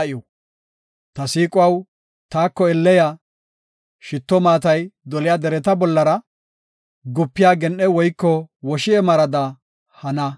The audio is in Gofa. Ta siiquwaw, taako elle ya! shitto maatay doliya dereta bollara, gupiya gen7e woyko woshi7e marada hana.